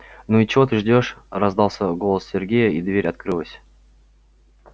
ну и чего ты ждёшь раздался голос сергея и дверь открылась